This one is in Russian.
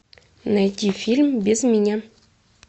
найди фильм без меня